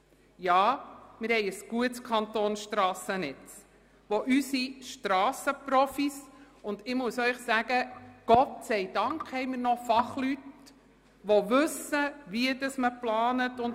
Ja, wir verfügen über ein gutes Kantonsstrassennetz, welches unsere Strasseninspektoren, unsere Strassenmeister und unsere Ingenieure mit grossem Engagement unterhalten.